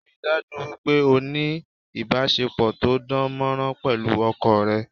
Ríi dájú wípé o ni ìbásepọ̀ to dán mọ́rán pẹ̀lú ọkọ rẹ